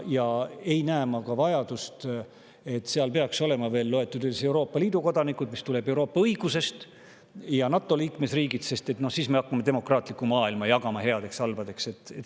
Ma ei näe ka vajadust, et seal peaks olema veel loetud üles Euroopa Liidu kodanikud, mis tuleneb Euroopa õigusest, ja NATO liikmesriigid, sest siis me hakkame demokraatliku maailma jagama headeks ja halbadeks.